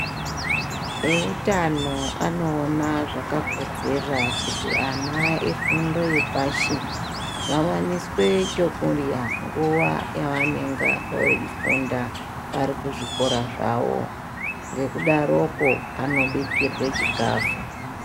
Eutano anoona zvakakodzera kuti ana efundo yepashi vavaniswe chokurya nguva yavanenga veifunda vari kuzvikora zvavo, ngekudaroko anobikirwe chikafu.